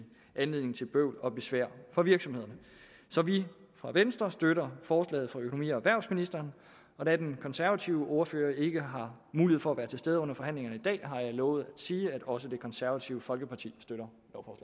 anledning til bøvl og besvær for virksomhederne så vi fra venstre støtter forslaget fra økonomi og erhvervsministeren og da den konservative ordfører ikke har mulighed for at være til stede under forhandlingerne i dag har jeg lovet at sige at også det konservative folkeparti støtter